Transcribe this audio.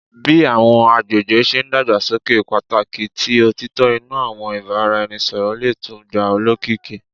Bi awọn agbegbe ṣe n dagbasoke, pataki ti otitọ inu awọn ibaraẹnisọrọ le tun gba olokiki